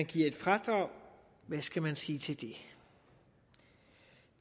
givet et fradrag hvad skal man sige til det